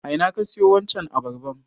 A ina ka siyo wancan abarban?